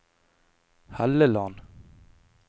Helleland